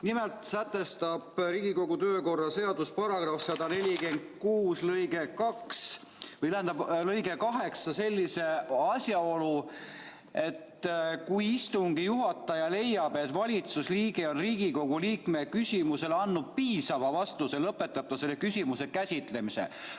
Nimelt sätestab Riigikogu kodu- ja töökorra seaduse § 146 lõige 8 sellise asjaolu, et kui istungi juhataja leiab, et valitsusliige on Riigikogu liikme küsimusele andnud piisava vastuse, lõpetab ta selle küsimuse käsitlemise.